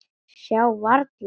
Sjá varla.